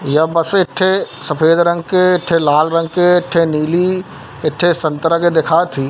यह बस ठे सफ़ेद रंग के ठे लाल रंग के ठे एक ठे नीली एक ठे संतरा के दिखत ठी--